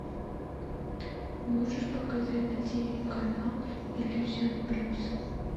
можешь показать на тв канал иллюзион плюс